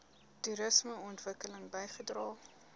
toerisme ontwikkeling bygedra